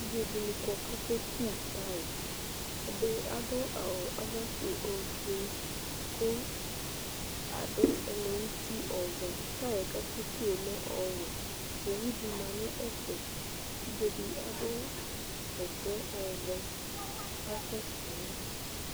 Evidzedini kɔ ku ake ku taya ɛdini adu ofue adu ɛlɛ nuti ɔvɛ tay akeku ɔlɛ ɔwɛ owu di lɛ nu ɛfɛ evidze di adu bɛtɛ ɔvɛ asɛsɛ yaɣa